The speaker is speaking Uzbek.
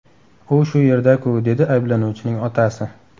U shu yerda-ku”, dedi ayblanuvchining otasi.